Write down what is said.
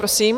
Prosím.